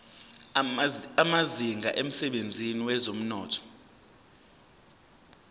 amazinga emsebenzini wezomnotho